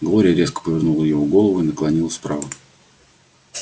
глория резко повернула его голову и наклонилась вправо